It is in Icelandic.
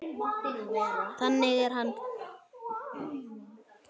Þannig er hann.